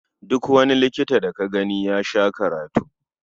Duk wani likita da ka gani ya sha karatu.